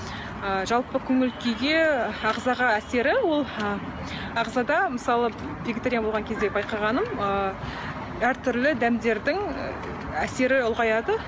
ы жалпы көңіл күйге ағзаға әсері ол ы ағзада мысалы вегетариан болған кезде байқағаным ы әртүрлі дәмдердің әсері ұлғаяды